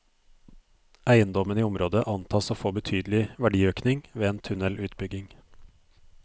Eiendommene i området antas å få betydelig verdiøkning ved en tunnelutbygging.